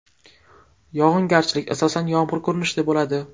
Yog‘ingarchilik asosan yomg‘ir ko‘rinishida bo‘ladi.